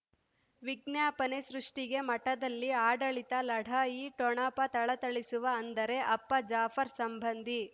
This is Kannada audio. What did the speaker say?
ವಿಜ್ಞಾಪನೆ ಸೃಷ್ಟಿಗೆ ಮಠದಲ್ಲಿ ಆಡಳಿತ ಲಢಾಯಿ ಠೊಣಪ ಥಳಥಳಿಸುವ ಅಂದರೆ ಅಪ್ಪ ಜಾಫರ್ ಸಂಬಂಧಿ